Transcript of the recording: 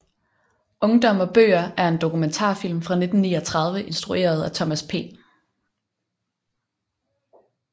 Ungdom og bøger er en dokumentarfilm fra 1939 instrueret af Thomas P